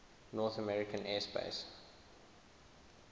north american aerospace